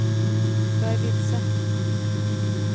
jag är vilse